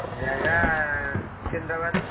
ଜାଗା ଶିକନ୍ଦ୍ରାବାଦ୍ ରେ।